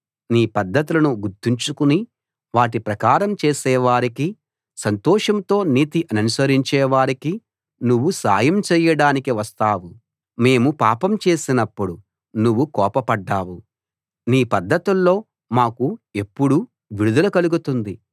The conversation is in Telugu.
నీ పద్ధతులను గుర్తుంచుకుని వాటి ప్రకారం చేసే వారికి సంతోషంతో నీతి ననుసరించే వారికి నువ్వు సాయం చేయడానికి వస్తావు మేము పాపం చేసినప్పుడు నువ్వు కోపపడ్డావు నీ పద్ధతుల్లో మాకు ఎప్పుడూ విడుదల కలుగుతుంది